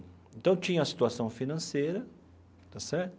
Então, tinha a situação financeira, está certo?